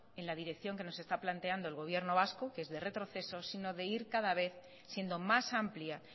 en la dirección que nos está planteando el gobierno vasco que es de retroceso sino de ir cada ve siendo más amplia